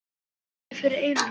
Það niðaði fyrir eyrum hans.